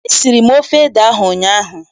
Esiri m ofe ede ahụ ụnyaahụ.